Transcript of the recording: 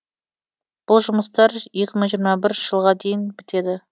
бұл жұмыстар екі мың жиырма бірінші жылға дейін бітеді